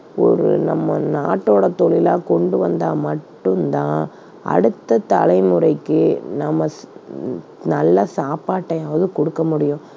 ஒரு நம்ம நாட்டோட தொழிலா கொண்டு வந்தா மட்டும் தான் அடுத்த தலைமுறைக்கு நம்ம ஸ்~ உம் நல்ல சாப்பாட்டையாவது கொடுக்க முடியும்.